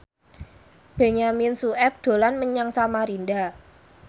Benyamin Sueb dolan menyang Samarinda